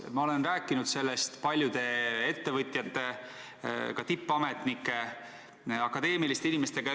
Ma olen rääkinud sellest paljude ettevõtjate, ka tippametnike, akadeemiliste inimestega.